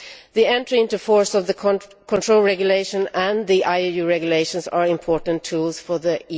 The entry into force of the control regulation and the IUU regulations are important tools for the